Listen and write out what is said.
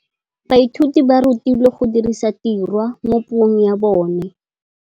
Baithuti ba rutilwe go dirisa tirwa mo puong ya bone.